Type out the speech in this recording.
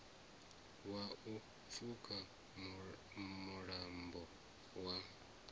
wa u pfuka mulambo wa